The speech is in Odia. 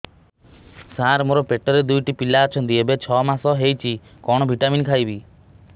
ସାର ମୋର ପେଟରେ ଦୁଇଟି ପିଲା ଅଛନ୍ତି ଏବେ ଛଅ ମାସ ହେଇଛି କଣ ଭିଟାମିନ ଖାଇବି